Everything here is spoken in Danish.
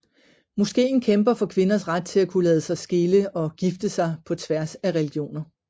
Moskeen kæmper for kvinders ret til at kunne lade sig skille og gifte sig på tværs af religioner